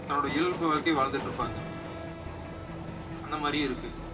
தன்னுடைய இயல்பு வாழ்க்கைய வாழ்ந்திட்டிருப்பாங்க அந்த மாதிரியும் இருக்கு